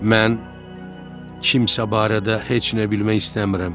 Mən kimsə barədə heç nə bilmək istəmirəm.